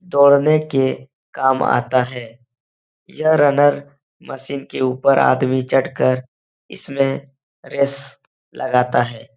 दौड़ने के काम आता है। यह रनर मशीन के ऊपर आदमी चढ़ कर इसमें रेस लगाता है।